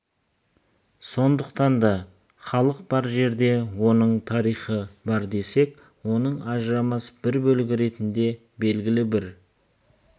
сондықтан да халық бар жерде оның тарихы бар десек оның ажырамас бір бөлігі ретінде белгілі бір